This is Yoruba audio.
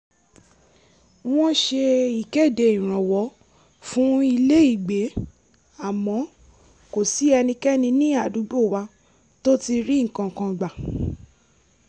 wọ́n ṣe ìkéde ìrànwọ́ fún ilé-ìgbé àmọ́ kò sí ẹnikẹ́ni ní àdúgbò wa tó ti ri nǹkan kan gbà